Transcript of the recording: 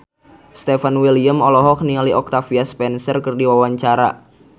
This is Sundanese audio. Stefan William olohok ningali Octavia Spencer keur diwawancara